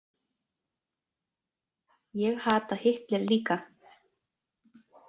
Ég hata Hitler líka!